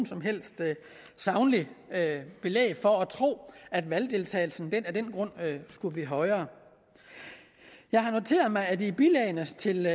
som helst sagligt belæg for at tro at valgdeltagelsen af den grund skulle blive højere jeg har noteret mig at der i bilagene til